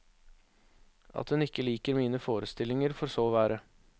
At hun ikke liker mine forestillinger, får så være.